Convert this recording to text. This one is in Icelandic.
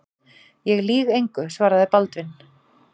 Ég lýg engu, svaraði Baldvin.